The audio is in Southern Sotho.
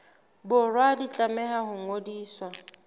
borwa di tlameha ho ngodiswa